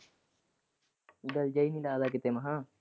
ਦਿਲ ਜਿਹਾ ਨਹੀਂ ਲੱਗਦਾ ਕਿਥੇ ਮੈਂ ਕਿਹਾ।